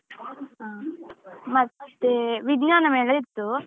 ಹಾ ಮತ್ತೆ ವಿಜ್ಞಾನ ಮೇಳ ಇತ್ತು.